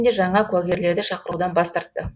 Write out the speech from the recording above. жаңа куәгерлерді шақырудан бас тартты